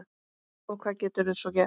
Og hvað geturðu svo gert?